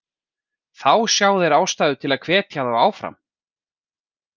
Þá sjá þeir ástæðu að hvetja þá áfram.